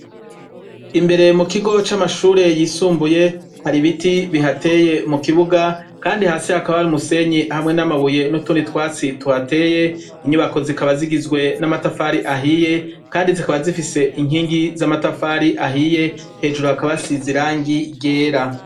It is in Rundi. Imbere mu kigo c' amashure y' isumbuye, har' ibiti bihateye mu kibuga kandi hasi hakaba har' umusenyi hamwe n' amabuye n' utundi twatsi tuhateye, inyubako zikaba zigizwe n' amatafar' ahiye kandi zikaba zifis' inkingi z' amatafar' ahiye, hejuru hakaba hasiz' irangi ryera.